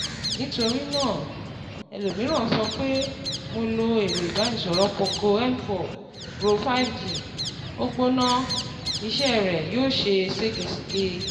Nítorí náà, ẹlòmíràn sọ pé: Mo lo ẹ̀rọ ìbánisọ̀rọ̀ poco M4 pro5G, ó gbóná, iṣẹ́ rẹ̀ yóò ṣe ṣégeṣège